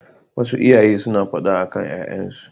Wasu iyaye suna faɗa akan ƴaƴansu.